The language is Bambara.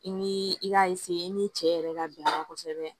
I ni i k'a i ni cɛ yɛrɛ ka bɛnna kosɛbɛ